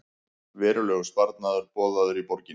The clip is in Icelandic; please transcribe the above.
Verulegur sparnaður boðaður í borginni